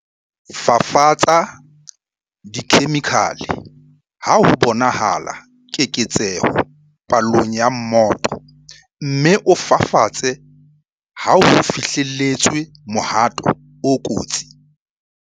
Fafatsa dikhemikhale ha ho bonahala keketseho palong ya mmoto, mme o fafatse ha ho fihlelletswe mohato o kotsi.